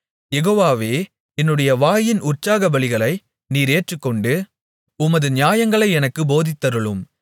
யெகோவாவே என்னுடைய வாயின் உற்சாகபலிகளை நீர் ஏற்றுக்கொண்டு உமது நியாயங்களை எனக்குப் போதித்தருளும்